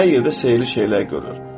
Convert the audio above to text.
Hər yerdə sehirli şeylər görür.